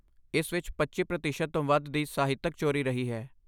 ਇਸ ਵਿੱਚ ਪੱਚੀ ਪ੍ਰਤੀਸ਼ਤ ਤੋਂ ਵੱਧ ਦੀ ਸਾਹਿਤਕ ਚੋਰੀ ਰਹੀ ਹੈ